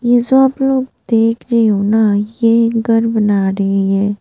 जैसा आप लोग देख रहे हो ना ये घर बना रहे हैं।